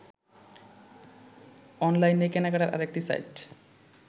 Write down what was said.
অনলাইনে কেনাকাটার আরেকটি সাইট